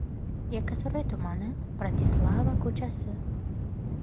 Yakkasaroy tumani, Bratislava ko‘chasi.